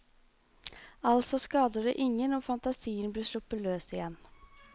Altså skader det ingen om fantasien blir sluppet løs igjen.